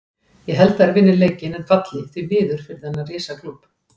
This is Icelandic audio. Ég held að þeir vinni leikinn en falli, því miður fyrir þennan risa klúbb.